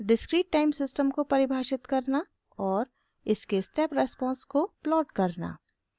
* discrete time system को परिभाषित करना और इसके स्टेप रेस्पॉन्स को प्लॉट करना